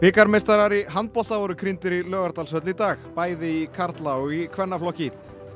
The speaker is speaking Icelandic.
bikarmeistarar í handbolta voru krýndir í Laugardalshöll í dag bæði í karla og í kvennaflokki